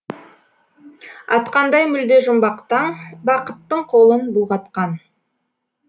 атқандай мүлде жұмбақ таң бақыттың қолын бұлғатқан